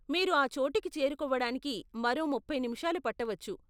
మీరు ఆ చోటుకి చేరుకోవడానికి మరో ముప్పై నిమిషాలు పట్టవచ్చు.